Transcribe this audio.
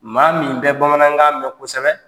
Maa min bɛ bamanankan mɛn kosɛbɛ.